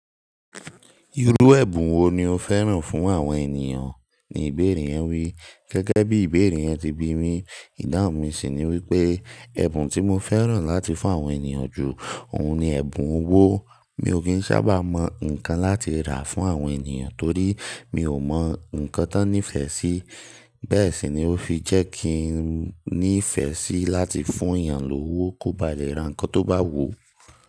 "Irú ẹ̀bùn wo ni o fẹ́ràn fún àwọn ènìyàn?" ni ìbéèrè yẹn wí. Gẹ́gẹ́ bí ìbéèrè yẹn ti bi mi, ìdáhùn mi sì ni wípé ẹ̀bùn tí mo fẹ́ràn láti fún àwọn ènìyàn jù, òun ni ẹ̀bùn owó. Mi ò kí ń sábà mọ ǹkan láti rà fún àwọn ènìyàn torí mi ò mọ ǹkán tó n nífẹ̀ẹ́ sí. Bẹ́ẹ̀ sì ni ó fi jẹ́ kí n nífẹ̀ẹ́ sí láti fún èèyàn lówó kó ba lè ra ǹkan tó bá wù ú.